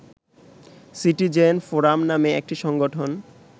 citizen forum নামে একটি সংগঠন